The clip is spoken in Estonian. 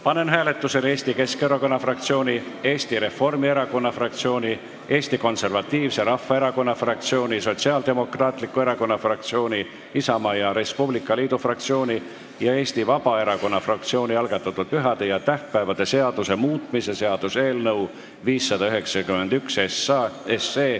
Panen hääletusele Eesti Keskerakonna fraktsiooni, Eesti Reformierakonna fraktsiooni, Eesti Konservatiivse Rahvaerakonna fraktsiooni, Sotsiaaldemokraatliku Erakonna fraktsiooni, Isamaa ja Res Publica Liidu fraktsiooni ja Eesti Vabaerakonna fraktsiooni algatatud pühade ja tähtpäevade seaduse muutmise seaduse eelnõu 591.